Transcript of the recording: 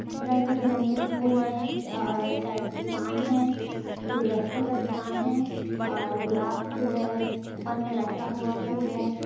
रंगे बिरंगे फूल हैं और शायद दुकान है गुलदस्ते का दुकान है और गुलाब फूल है ऊपर में लटका हुआ फूल है।